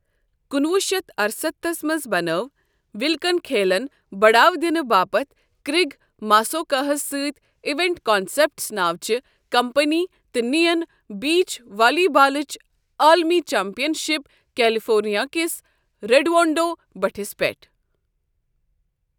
کُنوُہ شیتھ ارستتھس منٛز بَنٲو وِلکن کھیلن بَڑاوٕ دِنہٕ باپتھ کرٛیگ ماسوکا ہس سٕتۍ اِویٚنٹ کانسیٚپٹس ناوٕچہِ کمپٔنی تہٕ نِیَن بیٖچ والی بالٕچ عالمی چمپِیَن شِپ کیٚلِفورنِیا کِس ریٚڈونٛڈو بٔٹِھس پیٚٹھ۔